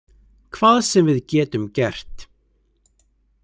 Hvað sem við getum gert.